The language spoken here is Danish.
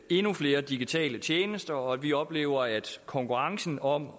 endnu flere digitale tjenester og at vi oplever at konkurrencen om